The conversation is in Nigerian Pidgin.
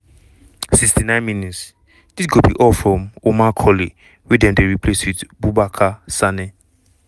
69 mins - dis go be all from omar colley wey dem dey replace wit bubacarr sanneh.